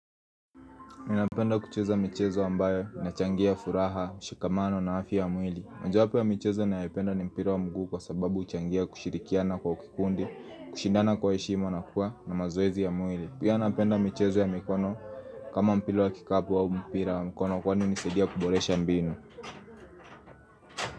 Ninapenda kucheza michezo ambayo inachangia furaha, mshikamano na afya yamwili. Mojawapo ya michezo ninayopenda ni mpira wa mguu kwa sababu uchangia kushirikiana kwa kikundi, kushindana kwa heshima na kuwa na mazoezi ya mwili. Pia napenda michezo ya mikono kama mpira wa kikapu wa mpira wa mikono kwani hunisaidia kuboresha mbinu.